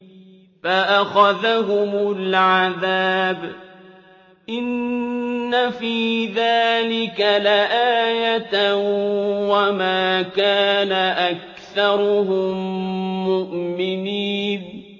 فَأَخَذَهُمُ الْعَذَابُ ۗ إِنَّ فِي ذَٰلِكَ لَآيَةً ۖ وَمَا كَانَ أَكْثَرُهُم مُّؤْمِنِينَ